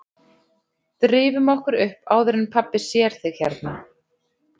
Drífum okkur upp áður en pabbi sér þig hérna